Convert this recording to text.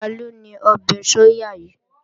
Taló ní ọbẹ̀ sóyà yìí?